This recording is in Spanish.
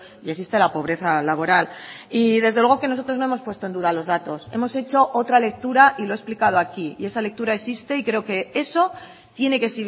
y existe la pobreza laboral y desde luego que nosotros no hemos puesto en duda los datos hemos hecho otra lectura y lo he explicado aquí y esa lectura existe y creo que eso tiene que